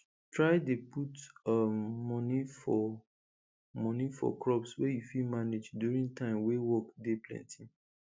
try dey put um money for money for crops wey you fit manage during time wey work dey plenty